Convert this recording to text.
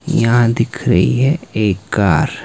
यहां दिख रही है एक कार। --